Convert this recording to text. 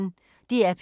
DR P1